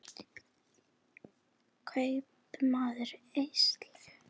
Kaupmáttur eykst